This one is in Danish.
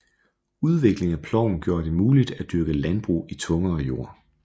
Udvikling af ploven gjorde det muligt at dyrke landbrug i tungere jord